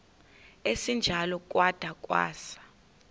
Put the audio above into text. esinjalo kwada kwasa